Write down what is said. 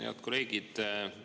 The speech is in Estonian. Head kolleegid!